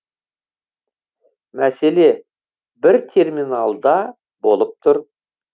мәселе бір терминалда болып тұр